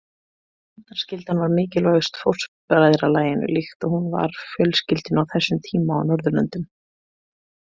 Hefndarskyldan var mikilvægust fóstbræðralaginu líkt og hún var fjölskyldunni á þessum tíma á Norðurlöndum.